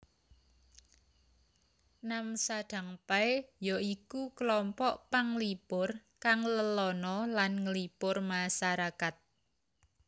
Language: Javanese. Namsadangpae ya iku klompok panglipur kang lelana lan nglipur masarakat